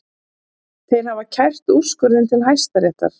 Þeir hafa kært úrskurðinn til Hæstaréttar